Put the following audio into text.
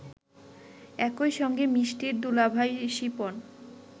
একই সঙ্গে মিষ্টির দুলাভাই শিপন